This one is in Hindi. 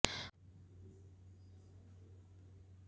उन्होंने कहा कि उनकी बहुमुखी प्रतिभा तथा मार्गदर्शन से देश को और